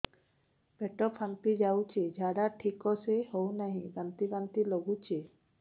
ପେଟ ଫାମ୍ପି ଯାଉଛି ଝାଡା ଠିକ ସେ ହଉନାହିଁ ବାନ୍ତି ବାନ୍ତି ଲଗୁଛି